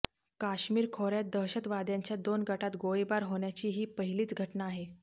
काश्मीर खोऱ्यात दहशतवाद्यांच्या दोन गटांत गोळीबार होण्याची ही पहिलीच घटना आहे